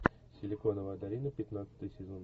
силиконовая долина пятнадцатый сезон